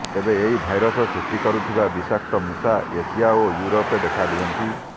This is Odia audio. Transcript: ତେବେ ଏହି ଭାଇରସ ସୃଷ୍ଟି କରୁଥିବା ବିଷାକ୍ତ ମୁଷା ଏସିଆ ଓ ୟୁରୋପରେ ଦେଖାଦିଅନ୍ତି